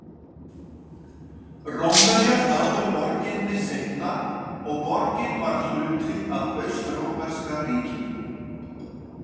Rómverjar náðu borginni seinna og borgin varð hluti af Austrómverska ríkinu.